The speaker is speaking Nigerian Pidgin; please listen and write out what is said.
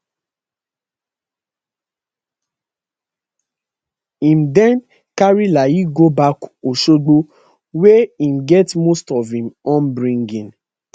im dem carry layi go back osogbo wia im get most of im upbringing